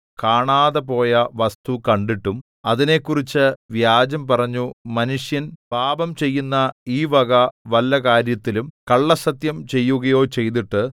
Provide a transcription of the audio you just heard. കാണാതെപോയ വസ്തു കണ്ടിട്ടും അതിനെക്കുറിച്ച് വ്യാജം പറഞ്ഞു മനുഷ്യൻ പാപം ചെയ്യുന്ന ഈ വക വല്ല കാര്യത്തിലും കള്ളസ്സത്യം ചെയ്യുകയോ ചെയ്തിട്ട്